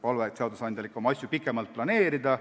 Palve seadusandjale on asju ikka pikemalt planeerida.